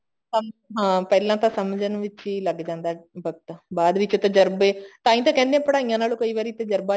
ਹਾਂਜੀ ਹਾਂ ਪਹਿਲਾਂ ਤਾਂ ਸਮਝਣ ਵਿੱਚ ਹੀ ਲੱਗ ਜਾਂਦਾ ਵਕਤ ਬਾਦ ਵਿੱਚ ਤਜਰਬੇ ਤਾਂਹੀ ਤਾਂ ਕਹਿੰਦੇ ਹਾਂ ਪੜਾਈਆਂ ਨਾਲੋਂ ਕਈ ਵਾਰੀ ਤਜਰਬਾ